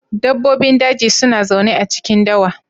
Dabbobin daji suna zaune a cikin dawa.